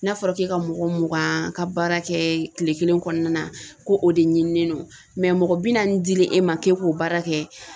N'a fɔra k'e ka mɔgɔ mugan ka baara kɛ kile kelen kɔnɔna na ko o de ɲinilen don mɔgɔ bi naani dilen 'e ma k'e k'o baara kɛ